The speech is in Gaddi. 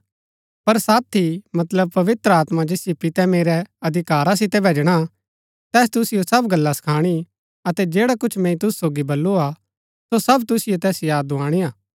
पर साथी मतलब पवित्र आत्मा जैसियो पितै मेरै अधिकारा सितै भैजणा तैस तुसिओ सब गल्ला सखाणी अतै जैडा कुछ मैंई तुसु सोगी बल्लू हा सो सब तुसिओ तैस याद दुआणी हा